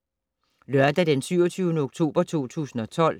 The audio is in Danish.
Lørdag d. 27. oktober 2012